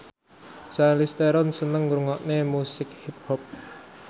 Charlize Theron seneng ngrungokne musik hip hop